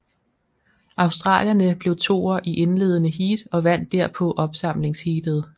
Australierne blev toer i indledende heat og vandt derpå opsamlingsheatet